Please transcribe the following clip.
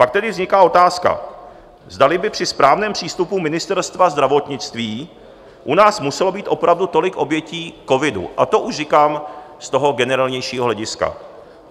Pak tedy vzniká otázka, zdali by při správném přístupu Ministerstva zdravotnictví u nás muselo být opravdu tolik obětí covidu, a to už říkám z toho generelnějšího hlediska.